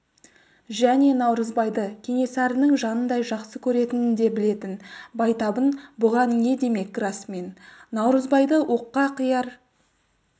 және наурызбайды кенесарының жанындай жақсы көретінін де білетін байтабын бұған не демек расымен наурызбайды оққа қияр